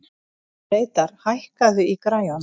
Reidar, hækkaðu í græjunum.